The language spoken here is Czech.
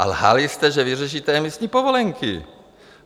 A lhali jste, že vyřešíte emisní povolenky.